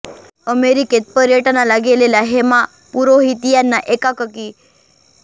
अमेरिकेत पर्यटनाला गेलेल्या हेमा पुरोहित यांना एकाएकी करोना साथ चालू झाल्यामुळे काही अभूतपूर्व अनुभव मिळाले